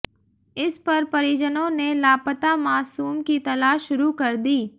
इस पर परिजनों ने लापता मासूम की तलाश शुरू कर दी